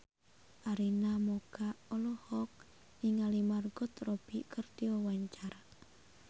Arina Mocca olohok ningali Margot Robbie keur diwawancara